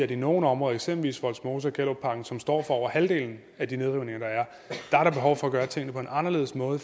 i nogle områder eksempelvis vollsmose og gellerupparken som står for over halvdelen af de nedrivninger der er er behov for at gøre tingene på en anderledes måde